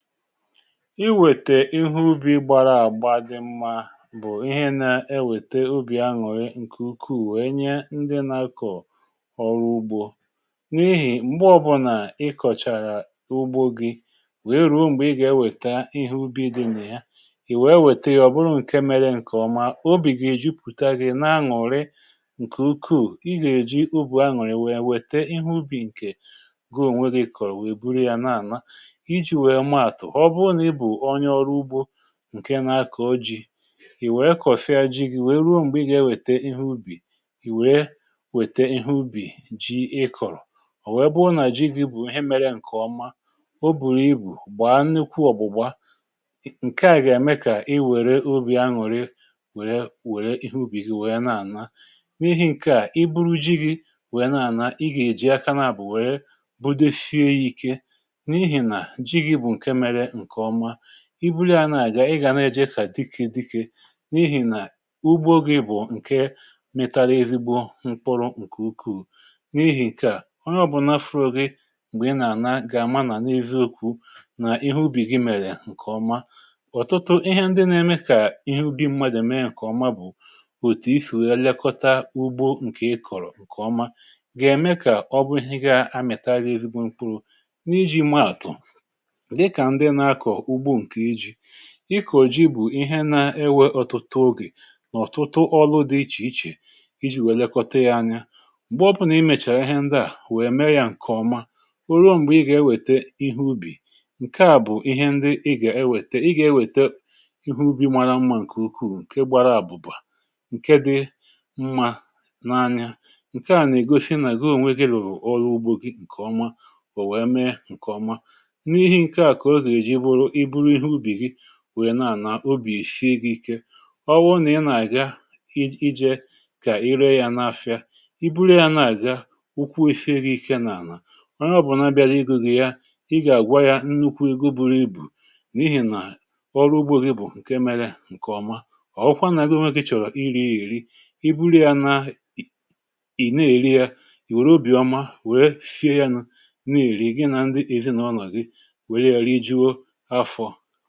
Ịwètè ihe ubi gbara àgba dị mmȧ bụ̀ ihe na-ewète obì aṅụrị̀ ǹkè ukwuù wèe nye ndị nȧ-akọ̀ ọrụ ugbȯ. n’ihì m̀gbe ọ bụnà ị kọ̀chàrà ugbo gi wèe rụọ m̀gbè ị gà-ewèta ihe ubi̇ dị nà ya, ì wèe wète ọ bụrụ ǹke mere ǹkè ọma, obì gà-èji pùta gị nà-aṅụrị ǹkè ukwuù, ị gà-èji ubì aṅụrị wèe wète ihe ubi̇ ǹkè goo ǹwė gị kọ̀rọ̀ wèe buru yȧ n’àma. iji wèè maatụ, ọbụrụ na ịbụ ọnye ọrụgbọ ǹke na-akọ̀ oji̇, ì wèe kọ̀sịa ji gi wèe ruo m̀gbè ị gà-ewète ihe ubì, ì wèe wète ihe ubì ji ị kọ̀rọ̀, ò wèe bụhụ nà ji gi bụ̀ ihe mėrė ya ǹkè ọma, o bùrù ibu̇ gbàa nịkwụ ọ̀gbụ̀gba, ǹkeà gà-ème kà i wère obi̇ anwùrè wère ihe ubì gi wèe na-ànà. N’ihi ǹkeà i buru ji gi wèe na-ànà i gà-èji aka n’àbụ̀ wèe bụdezie ya ike, n’ịhị na jị gị bụ nke mèrè nke ọma. i bulịa nà àga ị gà nà-ejì ekà dịkị dịkị, n’ihì nà ugbo gị bụ̀ ǹke mịtara ezigbo mkpụrụ̇ ǹkè ukwuù, n’ihì ǹke à onye ọ̀bụ̀ nafụrụ̇ gị m̀gbè ị nà-àna gà-àma nà n’eziokwu̇ nà ihe ubì gị mèrè ǹkèọma. Ọtụtụ ihe ndị nà-eme kà ihe ubi mmadụ̀ mee ǹkèọma bụ̀, òtù isì wee lekọta ugbo ǹkè ị kọ̀rọ̀ ǹkèọma, gà-ème kà ọ bụ ihe ndị ga-amịta agȧ ezigbo mkpụrụ. n’iji maàtụ̀, dị ka ndị na akọ ụgbọ nke jị, ịkọ̀ ji bụ̀ ihe na-ewè ọtụtụ ogè, nà ọ̀tụtụ ọlụ dị ichè ichè iji̇ wèlekọta ya anya. m̀gbè ọbụrụ nà i mèchàrà ihe ndị à wèe mee ya ǹkèọma, o ruo m̀gbè ị gà-ewète ihe ubì ǹkè a bụ̀ ihe ndị ị gà-ewète ị gà-ewète ihe ubì mara mmȧ ǹkè ukwuu, ǹke gbara àbụ̀bà, ǹke dị mmȧ n’anya, ǹke à nà-ègosi nà goo nwegị lụ̀ọlụ ugbȯ gị ǹkè ọma, bụ̀ wèe mee ǹkè ọma. N’ihị nke a ka ọ ga eji bụrụ na ịbụrụ ịhe ụbị gị wèrè na-ànà obì sie gi̇ ike, ọ wụ nà ị nà-àga iji̇ ijė kà ere ya n’afịa, i buru ya na-àga ukwu̇ sie gi̇ ike nà-ànà, onye ọ̀bụ̀na bịaghị ịgụ̇ ya ịgà àgwa ya nnukwu ego buru i bù, n’ihi̇ nà ọrụ ugbȯ gị bụ̀ ǹke melė ǹkèọma. ọ̀kwa nà-agi onweki chọ̀rọ̀ iri ya èri ibuli ya na ị̀ na-èri ya ìwèrè obì ọma wère sie ya nà-èri gị nà ndị èzinàụlọ gị wèrè ya rịgụọ afọ.